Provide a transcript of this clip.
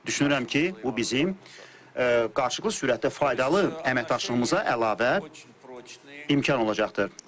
Düşünürəm ki, bu bizim qarşılıqlı sürətdə faydalı əməkdaşlığımıza əlavə imkan olacaqdır.